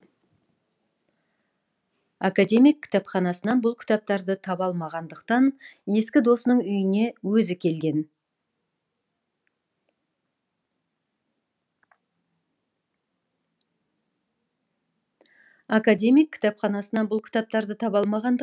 академик кітапханасынан бұл кітаптарды таба алмағандықтан ескі досының үйіне өзі келген